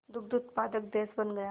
दुग्ध उत्पादक देश बन गया